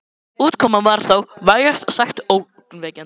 Útkoman var þó vægast sagt ógnvekjandi.